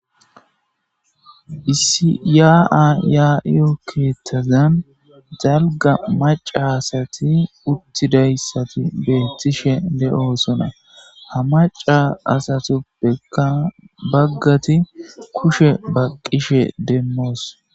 Issi yaa7aa yaa7iyoo keeththazan dalgga macca asathi uththidayssathi beeththishe de7oosona; ha macca asathuppekka baggathi kushe baqqishe demmoos.